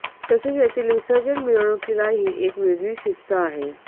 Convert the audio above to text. तसेच येथील विसर्जन मिरवणुकीलाही एक वेगळी शिस्त आहे